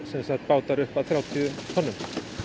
bátar upp að þrjátíu tonnum